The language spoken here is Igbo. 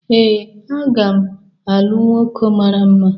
Ee, a ga m alụ nwoke mara mma